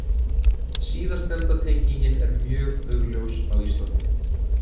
Síðastnefnda tengingin er mjög augljós á Íslandi.